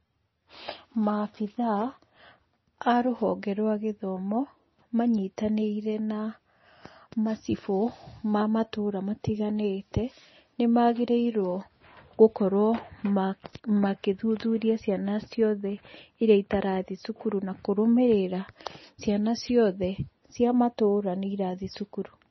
Maabitha a rũhonge rwa gĩthomo manyitanĩire na macibũ, ma matũra matiganĩte, nĩ magĩrĩirwo gũkorwo magĩthuthuria ciana ciothe irĩa itathiĩ cukuru, na kũrũmĩrĩra ciana ciothe cia matũra nĩ irathiĩ cukuru.